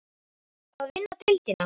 Að vinna deildina?